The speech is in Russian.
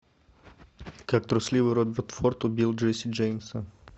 как трусливый роберт форд убил джесси джеймса